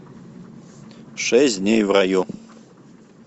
шесть дней в раю